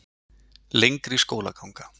Lengri skólaganga